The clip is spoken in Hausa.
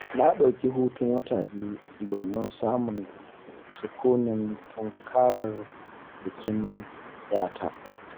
Na ɗauki hutun wata biyu, domin samun sukunin tunkarar bikin 'yata.